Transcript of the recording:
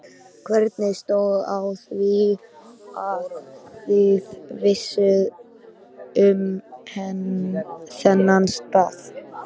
Hvernig stóð á því, að þið vissuð um þennan stað?